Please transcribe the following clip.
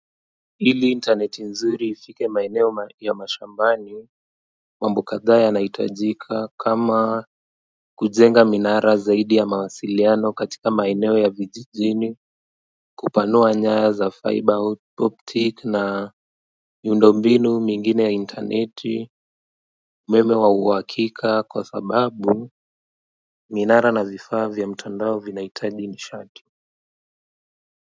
Ili intaneti nzuri ifike maeneo ya mashambani mambo kadhaa yanahitajika kama kujenga minara zaidi ya mawasiliano katika maeneo ya vijijini kupanua nyaya za fiber optic na miundo mbinu mingine ya interneti umeme wa uhakika kwa sababu minara na vifaa vya mtandao vinaitaji nishati.